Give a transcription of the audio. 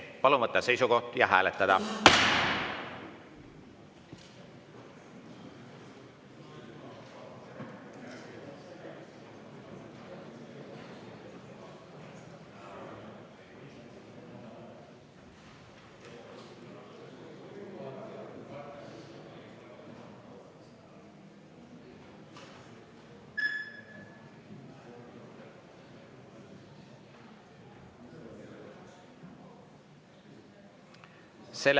Palun võtta seisukoht ja hääletada!